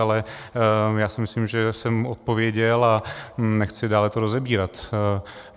Ale já si myslím, že jsem odpověděl, a nechci to dále rozebírat.